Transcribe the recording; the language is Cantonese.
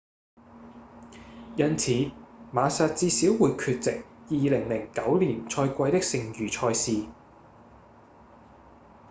因此馬薩至少會缺席2009年賽季的剩餘賽事